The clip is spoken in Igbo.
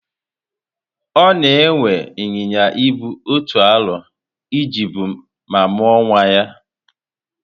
Ona ewe Ịnyịnya Ibu otu arọ e ji bu ma muo nwa ya